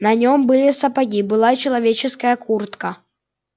на нём были сапоги была человеческая куртка